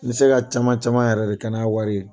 Me se ka ca caman yɛrɛ de kɛ n'a wari ye.